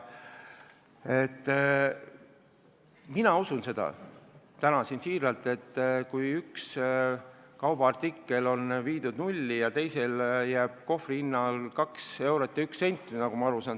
Mina usun täna tõesti, et kui ühe kaubaartikli osas on seis viidud nulli ja teisel on jäänud kohvri hinna vaheks 2 eurot ja 1 sent, siis on kõik korras.